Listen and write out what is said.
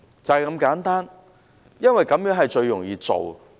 就是如此簡單，也是最容易做的。